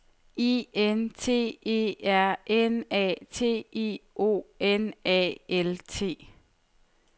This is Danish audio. I N T E R N A T I O N A L T